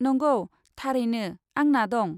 नंगौ, थारैनो, आंना दं।